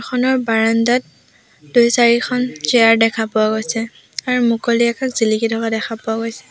খনৰ বাৰাণ্ডাত দুই চাৰিখন চিয়াৰ দেখা পোৱা গৈছে আৰু মুকলি আকাশ জিলিকি থকা দেখা পোৱা গৈছে।